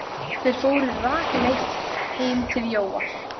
Þeir fóru rakleitt heim til Jóa.